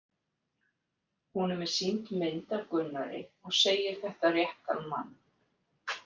Honum er sýnd mynd af Gunnari og segir þetta réttan mann.